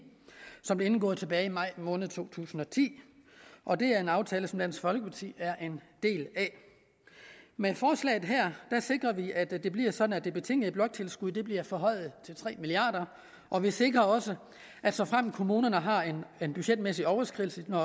som blev indgået tilbage i maj måned i to tusind og ti og det er en aftale som dansk folkeparti er en del af med forslaget her sikrer vi at det bliver sådan at det betingede bloktilskud bliver forhøjet til tre milliard kr og vi sikrer også at såfremt kommunerne har en budgetmæssig overskridelse når